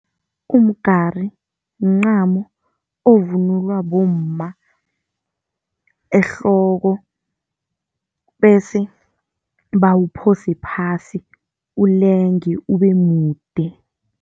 Umgari mncamo ovunulwa bomma ehloko, bese bawuphose phasi ulenge ube mude.